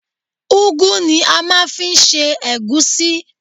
Ugwu ni a máa ń fi ń ṣe egusi.